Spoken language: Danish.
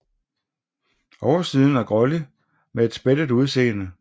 Oversiden er grålig med et spættet udseende